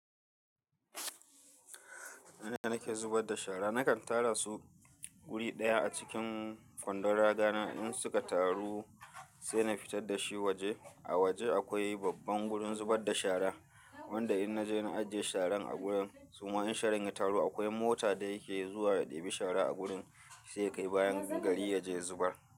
Ina nake zubar da shara, nakan tara su wuri ɗaya a cikin kwandon raga na in suka taru sai na fitar da shi waje. A waje akwai babban wurin zubar da shara wanda in na je na ajiye sharan a wurin. Suma in sharan ya taru akwai mota da yake zuwa ya ɗebi shara a wurin sai ya kai bayan gari ya je ya zubar.